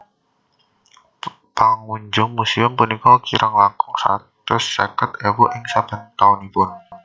Pangunjung muséum punika kirang langkung satus seket ewu ing saben taunipun